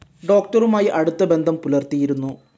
ഡോക്ടറുമായി അടുത്ത ബന്ധം പുലർത്തിയിരുന്നു.